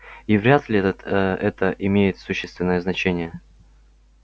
и вряд ли этот ээ это имеет существенное значение